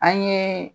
An ye